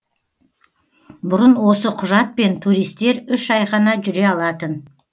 бұрын осы құжатпен туристер үш ай ғана жүре алатын